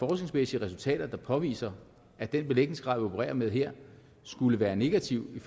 resultater der påviser at den belægningsgrad vi opererer med her skulle være negativ i